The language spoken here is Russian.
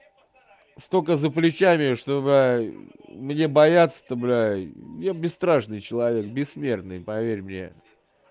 столько за плечами чтобы мне бояться то бля я бесстрашный человек бессмертный поверь мне